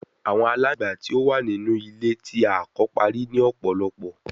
Awọn alangba ti o wa ninu ile ti a ko pari ni ọpọlọpọ